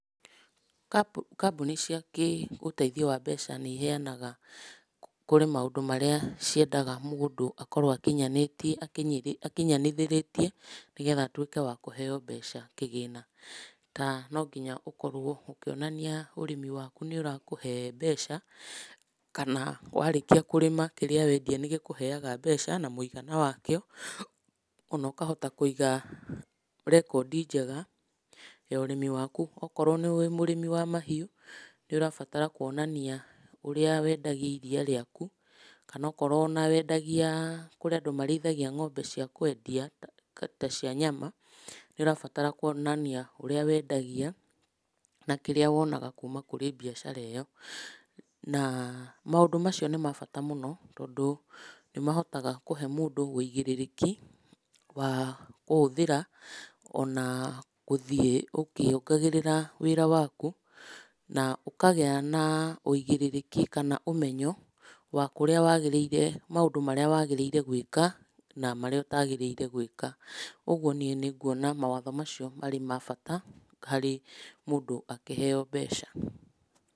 Kambũni cia kĩũtheithio wa mbeca nĩiheanaga, kũrĩ maũndũ marĩa ciendaga mũndũ akorwo akinyanĩtie akinyanithĩrĩtie nĩgetha atuĩke wakũheo mbeca kĩgĩna. Ta, no nginya ũkorwo ũkĩonania ũrĩmi waku nĩũrakũhe mbeca kana warĩkia kũrĩma kĩrĩa wendia nĩgĩkũheaga mbeca na mũigana wakĩo, ona ũkahota kũiga rekondi njega ya ũrĩmi waku. Okorwo wĩ mũrĩmi wa mahiũ, nĩũrabatara kuonania ũrĩa wendagia iria rĩaku, kana onokorwo ona wendagia, kũrĩ andũ marĩithagia ng'ombe cia kwendia, ta cia nyama, nĩũrabatara kuonania ũrĩa wendagia na kĩrĩa wonaga kuma kũrĩ mbiacara ĩyo, na maũndũ macio nĩ ma bata mũno, tondũ nĩmahotaga kũhe mũndũ wĩigĩrĩrĩki wa kũhũthĩra ona gũthiĩ ũkĩongagĩrĩra wĩra waku, na ũkagĩa na ũigĩrĩrĩki kana ũmenyo wa kũrĩa wagĩrĩire, maũndũ marĩa wagĩrĩire gwĩka na marĩa ũtagĩrĩire gwĩka. Ũguo niĩ nĩnguona mawatho macio marĩ ma bata harĩ mũndũ akĩheo mbeca.